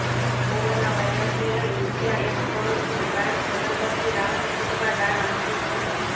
corona વાયરસને લઈ રૂપિયા એક કરોડનું દાન પ્રધાનમંત્રી રાહત ફંડમાં દાન આપ્યું છે